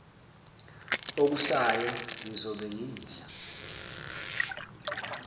okusayo ngizobe ngidla